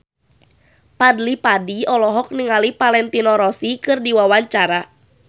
Fadly Padi olohok ningali Valentino Rossi keur diwawancara